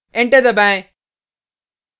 enter दबाएँ